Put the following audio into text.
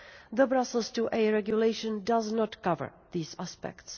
The Brussels IIa Regulation does not cover these aspects.